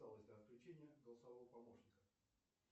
отключения голосовго помощника